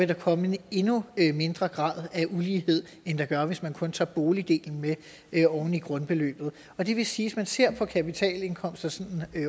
der komme en endnu mindre grad af ulighed end der gør hvis man kun tager boligdelen med oven i grundbeløbet det vil sige man ser på kapitalindkomster sådan